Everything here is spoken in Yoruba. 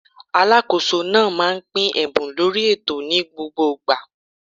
Alákóso náà máà ń pín ẹ̀bùn lórí ètò ni gbogbo igba